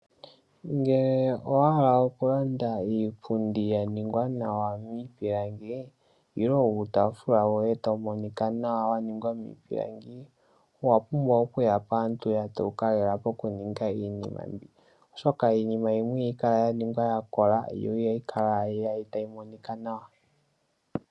Ngele owaala okulanda iipundi ya ningwa nawa niipilangi, nenge uutafula woye tawu monika nawa wa ningwa miipilangi. Owa pumbwa okuya paantu ya dhewuka lela pokuninga iinima mbi. Oshoka iinima yimwe ihayi kala ya ningwa ya kola, yo ihayi kala tayi monika nawa.